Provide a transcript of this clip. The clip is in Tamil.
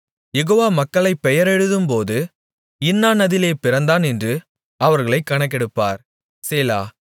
யெகோவா மக்களைப் பெயரெழுதும்போது இன்னான் அதிலே பிறந்தான் என்று அவர்களைக் கணக்கெடுப்பார் சேலா